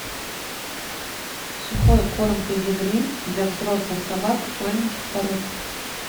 сухой корм педигри для взрослых собак маленьких пород